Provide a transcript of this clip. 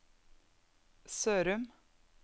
Sørum